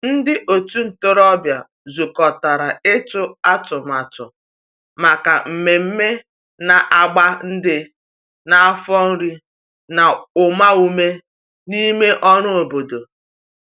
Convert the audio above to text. ndi otu ntorobia zukotara itu atụmatụ maka mmeme na agba ndi n'afo iri na uma ume n'ime ọrụ obodo.